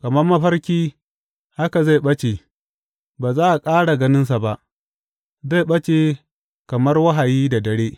Kamar mafarki haka zai ɓace, ba za a ƙara ganinsa ba zai ɓace kamar wahayi da dare.